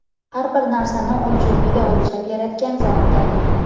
har bir narsani o‘lchov ila o‘lchab yaratgan Zotdir.